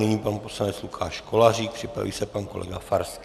Nyní pan poslanec Lukáš Kolářík, připraví se pan kolega Farský.